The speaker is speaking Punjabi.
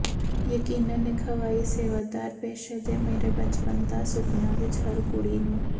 ਯਕੀਨਨ ਇੱਕ ਹਵਾਈ ਸੇਵਾਦਾਰ ਪੇਸ਼ੇ ਦੇ ਮੇਰੇ ਬਚਪਨ ਦਾ ਸੁਪਨਾ ਵਿੱਚ ਹਰ ਕੁੜੀ ਨੂੰ